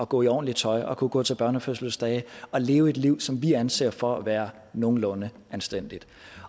gå i ordentligt tøj og kunne gå til børnefødselsdage og leve et liv som vi anser for at være nogenlunde anstændigt